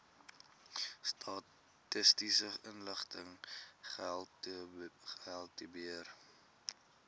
statistiese inligting gehaltebeheer